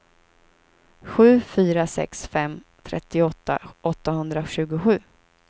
sju fyra sex fem trettioåtta åttahundratjugosju